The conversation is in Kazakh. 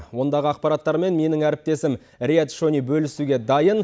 ондағы ақпараттармен менің әріптесім рияд шони бөлісуге дайын